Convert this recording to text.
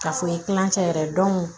Ka fɔ i ye kilancɛ yɛrɛ